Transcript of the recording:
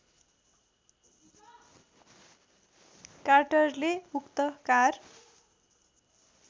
कार्टरले उक्त कार